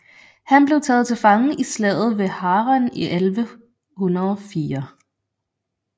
Han blev taget til fange i Slaget ved Harran i 1104